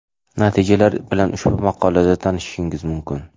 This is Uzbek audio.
Natijalar bilan ushbu maqola da tanishishingiz mumkin.